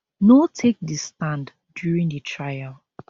no take di stand during di trial